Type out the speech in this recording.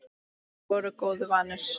Þeir voru góðu vanir.